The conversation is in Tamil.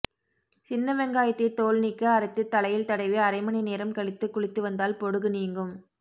சின்ன வெங்காயத்தை தோல் நீக்கி அரைத்து தலையில் தடவி அரைமணி நேரம் கழித்து குளித்து வந்தால் பொடுகு நீங்கும்